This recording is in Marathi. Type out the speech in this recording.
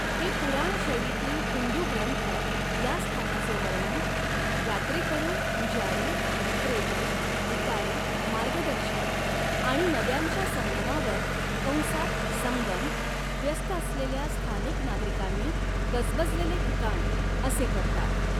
हे पुराण शैलीतील हिंदू ग्रंथ या स्थानाचे वर्णन, 'यात्रेकरू, पुजारी, विक्रेते, भिकारी, मार्गदर्शक' आणि नद्यांच्या संगमावर कंसात संगम व्यस्त असलेल्या स्थानिक नागरिकांनी गजबजलेले ठिकाण असे करतात.